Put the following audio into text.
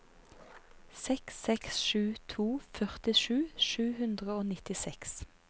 seks seks sju to førtisju sju hundre og nittiseks